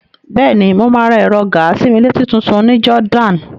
Bẹ́ẹ̀ni, mo máa ra ẹ̀rọ gàa-sí-mí-létí tutun ní Jordan.